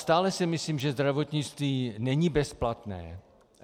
Stále si myslím, že zdravotnictví není bezplatné.